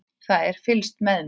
Það er fylgst með mér.